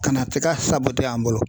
Ka na tiga an bolo